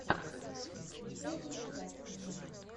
включай экранизацию